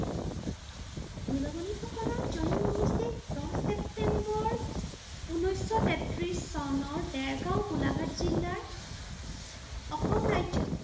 নীলমণি ফুকনৰ জন্ম হৈছিল দহ ছেপ্টেম্বৰ, ঊনৈশশ তেত্ৰিছ চনৰ দেৰগাওঁ গোলাঘাট জিলাৰ অসম ৰাজ্যত।